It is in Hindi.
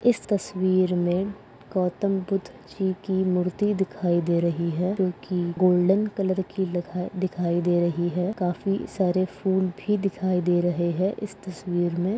इस तस्वीर में गौतम बुद्ध जी की मूर्ति दिखाई दे रही है जो की गोल्डन कलर लखा दिखाई दे रही है काफी सारे फूल भी दिखाई दे रहे है इस तस्वीर मे।